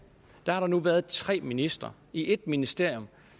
har der nu været tre ministre i et ministerium